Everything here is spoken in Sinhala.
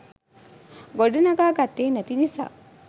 ගොඩනගා ගත්තෙ නැති නිසා